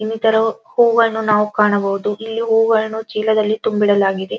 ಇನ್ನಿತರ ಹೂವನ್ನು ನಾವು ಕಾಣಬಹುದು ಇಲ್ಲಿ ಹೂವನ್ನು ಚೀಲದಲ್ಲಿ ತುಂಬಿಡಲಾಗಿದೆ .